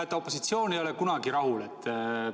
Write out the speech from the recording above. Näete, opositsioon ei ole kunagi rahul.